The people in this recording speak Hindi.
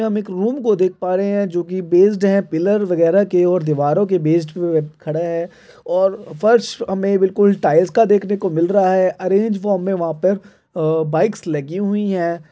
हम एक रूम को देख प्र है जो कि बेस्ड है पिल्लर वगेरा के और दीवारों के बेस्ड पे खड़ा है और फर्श हमे बिल्कुल टाइल्स का देखने को मिल रहा है अरेंज फॉर्म में वहा पर अ- बाइक्स लगी हुई है।